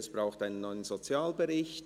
«Es braucht einen neuen Sozialbericht!